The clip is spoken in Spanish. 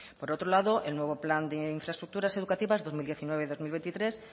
por otro lado el nuevo plan de infraestructuras educativas dos mil diecinueve dos mil veintitrés